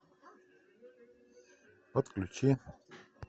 подключи